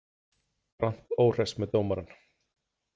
Grant óhress með dómarann